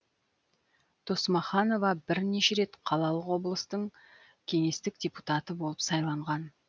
досмаханова бірнеше рет қалалық облыстық кеңестің депутаты болып сайланған